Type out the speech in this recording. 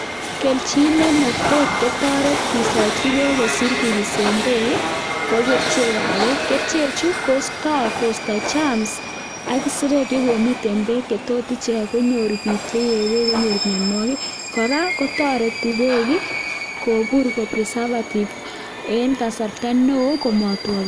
Kelchin ne tot kotoret kisochi beek kosir kibisen beek ii, ko kerichek ab beek. Kerichek chu koisto kosto germs ak isirek che komiten beek che tot ichek konyor bik che yee beek, konyor mianwogik, kora kotoreti beek ii kobur ko preservative en kasarta neo komatwa beek.